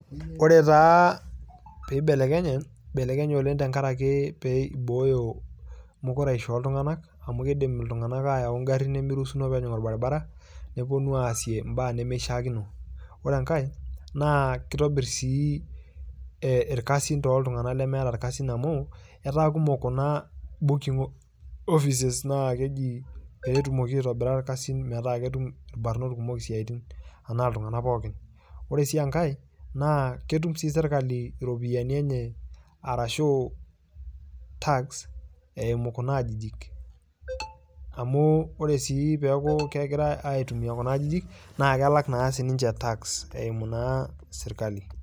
Kore taa peibelekenye oleng tengaraki peibooyo mukuraisho ooltungank amu keidim ltungamak aayau eng'arin nemeiruhusini peejing' orbaribara neponu aasie imbaa nemeishaakino ,ore enkae naa keitobirr sii olasin too ltungana lemeeta ikkasi amuu etaa kumok kuna booking offices naa keji peetumoki aitobira irkasin metaa ketum lbarot kumok ilkasin anaa ltungana pookin, ore sii enkae naa ketum sii sirikali iropiyiani enye arashu tax eimu kuna aajijik amuu ore sii peaku kegirai aitumia kuna ajijik naa kelak sii ninche tax eimu naa sirikali.